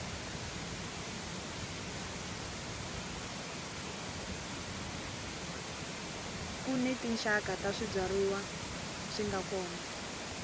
kuni tinxaka ta swibyariwa swinga kona